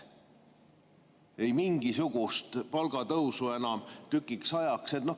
Ei mingisugust palgatõusu enam tükiks ajaks.